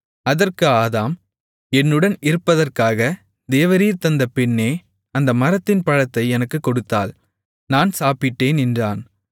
அதற்கு ஆதாம் என்னுடன் இருப்பதற்காக தேவரீர் தந்த பெண்ணே அந்த மரத்தின் பழத்தை எனக்குக் கொடுத்தாள் நான் சாப்பிட்டேன் என்றான்